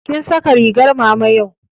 Kin saka ringar mama yau?